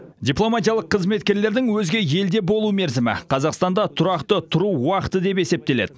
дипломатиялық қызметкерлердің өзге елде болу мерзімі қазақстанда тұрақты тұру уақыты деп есептеледі